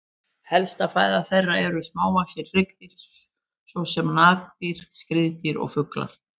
Helsta fæða þeirra eru smávaxin hryggdýr svo sem nagdýr, skriðdýr og fuglar.